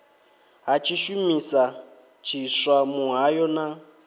ha tshishumisa tshiswa muhayo na